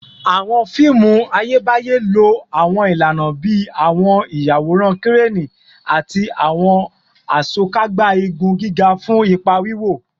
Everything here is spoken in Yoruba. Awọn fiimu Ayebaye lo awọn ilana bii awọn iyaworan Kireni ati awọn Asokagba igun giga fun ipa wiwo